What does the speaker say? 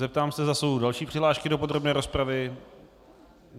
Zeptám se, zda jsou další přihlášky do podrobné rozpravy.